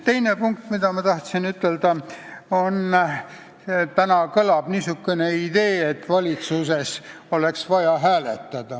Teine asi, mis ma tahtsin ütelda, on see, et täna kõlab niisugune idee, et valitsuses oleks vaja hääletada.